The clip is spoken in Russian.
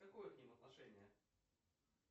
какое к ним отношение